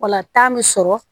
O la taa bɛ sɔrɔ